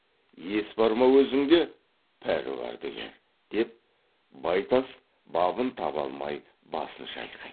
ес бар ма өзіңде пәруардігер деп байтас бабын таба алмай басын шайқайды